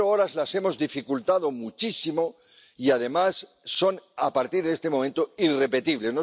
Las cero horas las hemos dificultado muchísimo y además son, a partir de este momento, irrepetibles.